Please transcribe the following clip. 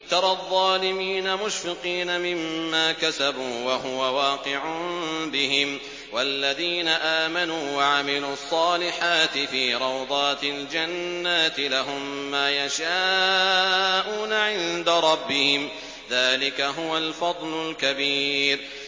تَرَى الظَّالِمِينَ مُشْفِقِينَ مِمَّا كَسَبُوا وَهُوَ وَاقِعٌ بِهِمْ ۗ وَالَّذِينَ آمَنُوا وَعَمِلُوا الصَّالِحَاتِ فِي رَوْضَاتِ الْجَنَّاتِ ۖ لَهُم مَّا يَشَاءُونَ عِندَ رَبِّهِمْ ۚ ذَٰلِكَ هُوَ الْفَضْلُ الْكَبِيرُ